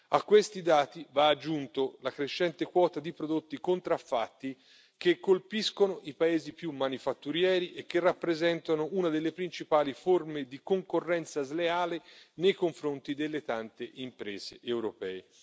A questi dati va aggiunta la crescente quota di prodotti contraffatti che colpiscono i paesi più manifatturieri e che rappresentano una delle principali forme di concorrenza sleale nei confronti delle tante imprese europee.